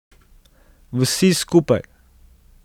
Vsi skupaj.